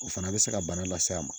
O fana bɛ se ka bana las'a ma